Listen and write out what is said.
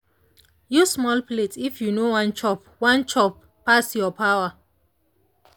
use small plate if you no wan chop wan chop pass your power.